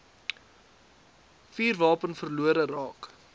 vuurwapen verlore raak